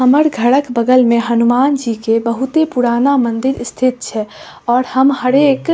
हमर घरक बगल में हनुमान जी के बहुत ही पुराना मंदिर स्थित छे और हम हरेक --